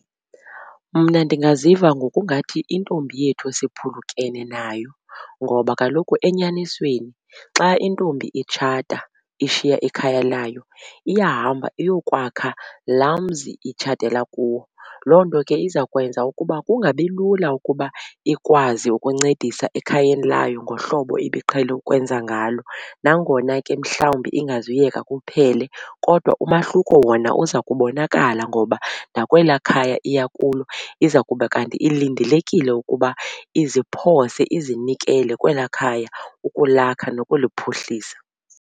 Mna ndingaziva ngokungathi intombi yethu siphulukene nayo ngoba kaloku enyanisweni xa intombi itshata ishiya ikhaya layo iyahamba iyokwakha laa mzi itshatela kuwo. Loo nto ke izawukwenza ukuba kungabilula ukuba ikwazi ukuncedisa ekhayeni layo ngohlobo ebiqhele ukwenza ngalo. Nangona ke mhlawumbi ingazuyeka kuphele kodwa umahluko ukhona uza kubonakala ngoba nakwelaa khaya iya kulo iza kuba kanti ilindelekile ukuba iziphose, izinikele kwelaa khaya ukulakha nokuliphuhlisa.